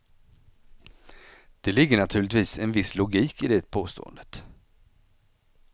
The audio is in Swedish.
Det ligger naturligtvis en viss logik i det påståendet.